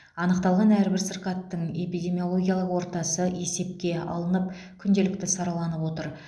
анықталған әрбір сырқаттың эпидемиологиялық ортасы есепке алынып күнделікті сараланып отыр